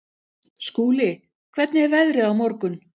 Skúli, hvernig er veðrið á morgun?